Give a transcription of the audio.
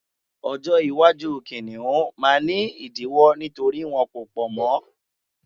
ọjọ iwaju kiniun ma ni idiwọ nítorí wọn ko pọ mọ